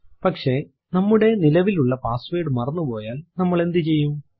പക്ഷെ നമ്മുടെ നിലവിലുള്ള പാസ്സ്വേർഡ് മറന്നുപോയാൽ നമ്മൾ എന്ത് ചെയ്യും